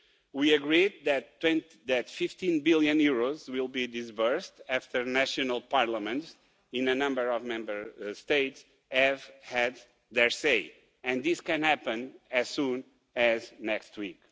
We agreed that EUR 15 billion will be disbursed after the national parliaments in a number of Member States have had their say, and this can happen as soon as next week.